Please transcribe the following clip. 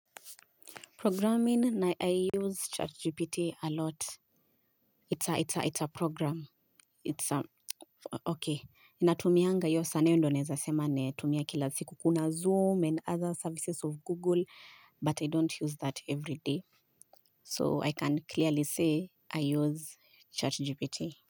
Programming, na I use ChatGPT a lot. It's a program. It's, okay. Natumianga hiyo sana hiyo ndio naeza sema natumia kila siku. Kuna Zoom and other services of Google, but I don't use that every day. So I can clearly say I use ChatGPT.